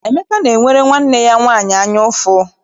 Emeka na-enwere nwanne ya nwaanyị anya ụfụ.